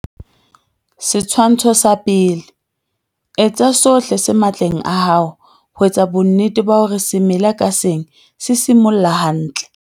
Setshwantsho sa 1. Etsa sohle se matleng a hao ho etsa bonnete ba hore semela ka seng se simolla hantle.